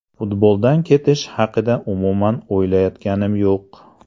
Futboldan ketish haqida umuman o‘ylayotganim yo‘q.